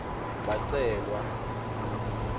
bacelwa